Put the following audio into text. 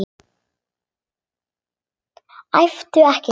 Æptu ekki svona!